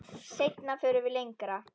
Seinna förum við lengra.